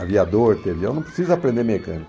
Aviador, entendeu? Eu não precisa aprender mecânica.